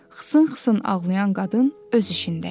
xısın-xısın ağlayan qadın öz işindəydi.